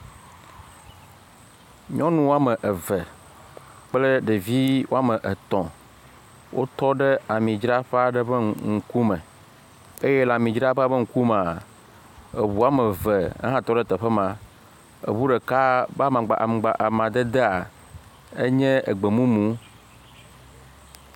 Nyɔnu woame eve kple ɖevi woame etɔ̃ wo tɔ ɖe amidroƒe aɖe ƒe ŋkume eye le amidzraƒea ƒe ŋkumea, eʋu woame eve ehã tɔ ɖe teƒe ma. Eʋu ɖeka be aŋgba, amadedea enye egbemumu.